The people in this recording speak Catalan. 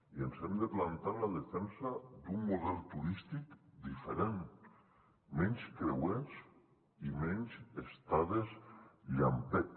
i ens hem de plantar en la defensa d’un model turístic diferent menys creuers i menys estades llampec